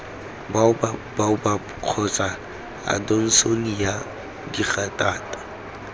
baobab baobab kgotsa adonsonia digitata